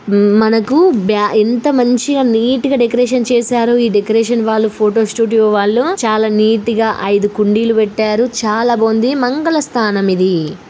మనకు బ్యా ఎంత మంచిగా నీట్ గా డెకరేషన్ చేశారు ఈ డెకరేషన్ వాళ్ళు ఫోటో స్టూడియో వాళ్ళు చాలా నీట్ గా ఐదు కుండీలు పెట్టారు. చాలా బాగుంది మంగళ స్నానం ఇది.